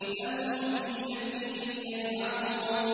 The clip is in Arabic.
بَلْ هُمْ فِي شَكٍّ يَلْعَبُونَ